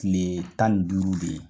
Kile tan ni duuru be yen.